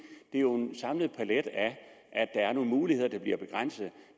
er jo en samlet palet af at der er nogle muligheder der bliver begrænset